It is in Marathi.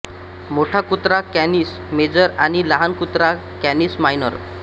मोठा कुत्रा कॅनिस मेजर आणि लहान कुत्रा कॅनिस मायनर